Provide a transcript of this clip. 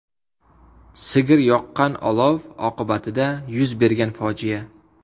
Sigir yoqqan olov oqibatida yuz bergan fojia.